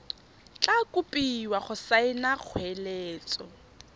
tla kopiwa go saena kgoeletso